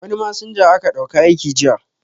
Wani masinja aka dauka aiki jiya